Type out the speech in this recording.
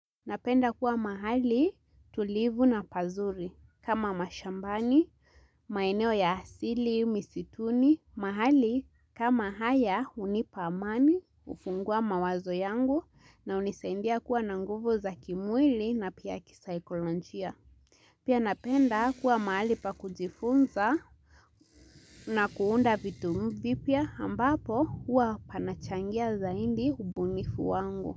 Napenda kuwa mahali tulivu na pazuri kama mashambani, maeneo ya asili, misituni, mahali kama haya hunipa amani, hufungua mawazo yangu na hunisaidia kuwa na nguvu za kimwili na pia kisaikolojia. Pia napenda kuwa mahali pa kujifunza na kuunda vitu vipya ambapo huwa panachangia zaidi ubunifu wangu.